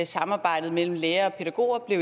samarbejdet mellem lærere og pædagoger